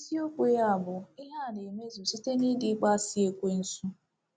Isiokwu ya bụ “ Ihe a na-emezu Site n’ídì Ịkpọasị ekwensu. ”